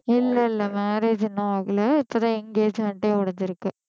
இல்ல இல்ல marriage இன்னும் ஆகலை இப்பதான் engagement ஏ முடிஞ்சிருக்கு